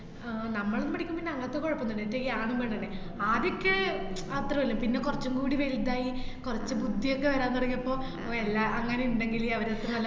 ആഹ് നമ്മളൊന്നും പഠിക്കുമ്പോ പിന്ന അങ്ങനത്തെ കൊഴപ്പോന്നൂല്ല. ഇപ്പയീ ആണും പെണ്ണും അല്ല ആദ്യൊക്കെ അത്രേ ഉള്ളു പിന്നെ കൊറച്ചുംകൂടി വലുത് ആയി കൊറച്ചു ബുദ്ധിയൊക്കെ വരാൻ തുടങ്ങിയപ്പോ വെ~ എല്ലാ അങ്ങനെ ഇണ്ടെങ്കില് അവരൊക്കെ നല്ല